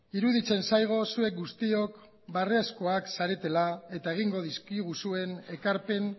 iruditzen zaigu zuek guztiok beharrezkoak zaretela eta egingo dizkiguzuen ekarpen